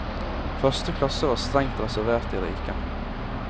Første klasse var strengt reservert de rike.